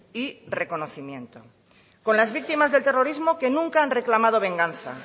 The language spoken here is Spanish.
y reconocimiento con las víctimas del terrorismo que nunca han reclamado venganza